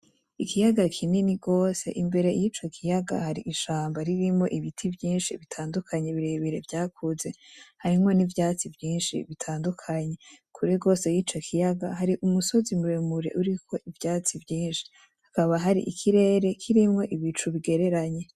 Ikiyaga kinini gose, imbere yico kiyaga hari ishamba ririmwo ibiti vyinshi bitandukanye birebire vyakuze, harimwo n'ivyatsi vyinshi bitandukanye, kure gose yico kiyaga hari umusozi muremure uriko ivyatsi vyinshi, hakaba hari ikirere kirimwo ibicu bigereranye.